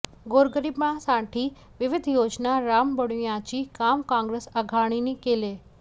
गोरगरिबांसाठी विविध योजना राबविण्याचे काम काँग्रेस आघाडीने केले